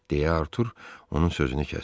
deyə Artur onun sözünü kəsdi.